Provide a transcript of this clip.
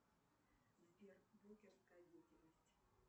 сбер брокерская деятельность